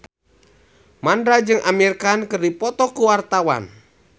Mandra jeung Amir Khan keur dipoto ku wartawan